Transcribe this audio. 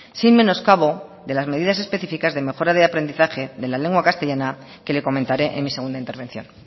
sin menoscabo de las medidas específicas de mejora de aprendizaje de la lengua castellana que le comentaré en mi segunda intervención